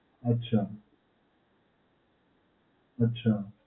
અચ્છા. અચ્છા.